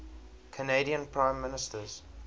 canadian prime ministers